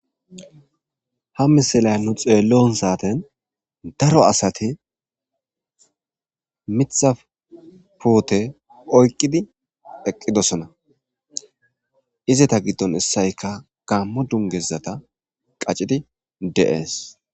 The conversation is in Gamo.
Ha misile nuni xeliyo saten daro asati mitha pute oyikidi eqidosona izata godon isoyika gamo dunguza qachi,di de,ees